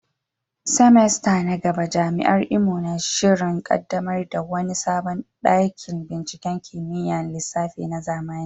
semester na gaba, Jami’ar Imo na shirin kaddamar da wani sabon dakin binciken kimiyyar lissafi na zamani.